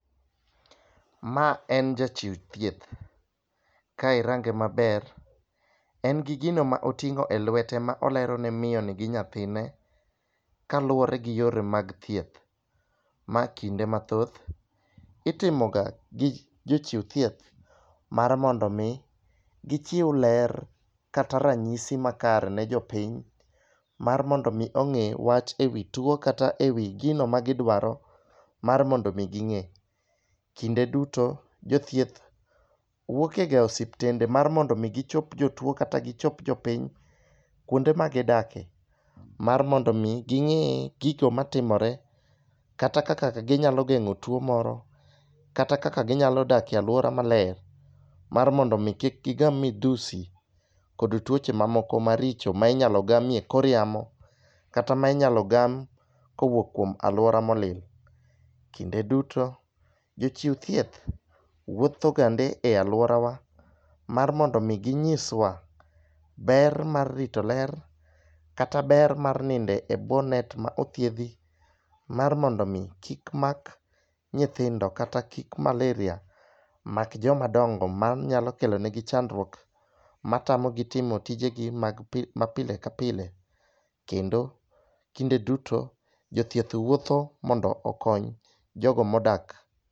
Ma en jachiw thieth. Ka irange maber en gi gino ma oting'o elwete ma olero ne miyo ni gi nyathine kaluwore gi yore mag thieth. Ma kinde mathoth itimo ga gi jochiw thieth mar mondo mi gichiw ler kata ranyisi makare ne jopiny mar mondo mi ong'e wach e wii tuo kata ewi gino ma gidwaro mar mondo mi ging'e. Kinde duto jothieth wuok e ga osiptende mar mondo mi gichop jotuo kata gichop jopiny kuonde ma gidake mar mondo mi ging'e gigo matimore kata kaka ginyalo geng'o tuo moro kata kaka ginyalo dakie aluora maler mar mondo mi kik gigam midhusi kod tuoche mamoko maricho ma inyalo gamie kor yamo, kata ma inyalo gam kowuok kuom aluora molil . Kinde duto, jochiw thieth wuotho gande e aluorawa mar mondo mi ginyiswa ber mar rito ler kata ber mar ninde e bwo net ma othiedhi mar mondo mi kik mak nyithindo kata malaria mak joma dongo manyalo kelonegi chandruok matamo gi timo tijegi mag ma pile ka pile kendo kinde duto jothieth wuotho mondo okony jogo modak.